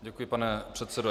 Děkuji, pane předsedo.